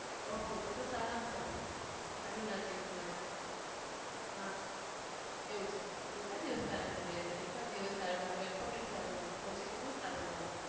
Okay તો તો સારામાં સારું આટલું નજીકમાં. હા એવું છે. કેટલા દિવસ તારા ઘરે રહેવાય? એકાદ દિવસ સારું લાગે અઠવાડિયું જ સારું લાગે. પછી કેટલું સારું લાગે?